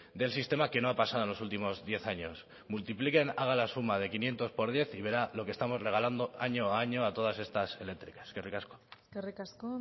del sistema que no ha pasado en los últimos diez años multipliquen hagan la suma de quinientos por diez y verá lo que estamos regalando año a año a todas estas eléctricas eskerrik asko eskerrik asko